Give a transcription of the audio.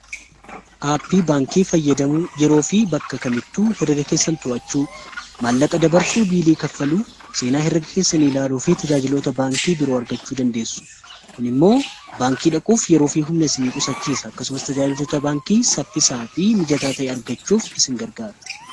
Aappii baankii fayyadamuun yeroo fi bakka kamittuu hirreega keessan to'achuu, maallaqa dabarsuu, biilii kaffaluu, seenaa hirreega keessani ilaaluu fi tajaajilota baankii biroo argachuu dandeessu. kun immoo baankii dhaquuf yeroo fi humna isinii qusachiisa. Akkasumas tajaajilota baankii saffisaa fi mijataa ta'e argachuuf isin gargaara.